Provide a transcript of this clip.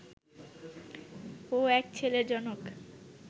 ও এক ছেলের জনক